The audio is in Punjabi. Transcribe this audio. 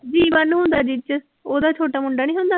ਜੀਵਨ ਹੁੰਦਾ ਜਿਹ ਚ ਉਹਦਾ ਛੋਟਾ ਮੁੰਡਾ ਨੀ ਹੁੰਦਾ।